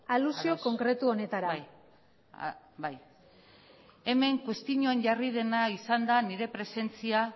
alusio konkretu honetara bai hemen kuestioan jarri dena izan da nire presentzia